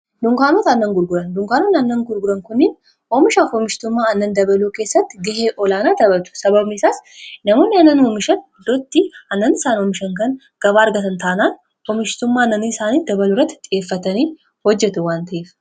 dunkaanot annan gurguran dunkaanoon aannan gurguran kuniin oomishaa hoomishtummaa annan dabaluu keessatti gahee olaanaa tabatu sabamiisaas namoonni annan hoomishan idootti annani isaan oomishan kan gabaa argatan ta'anaan hoomishitummaa annanii isaanii dabalurratti xhi'eeffatanii hojjetu wanta'eef